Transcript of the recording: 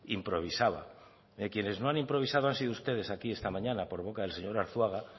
improvisaba quienes no han improvisado han sido ustedes aquí esta mañana por boca del señor arzuaga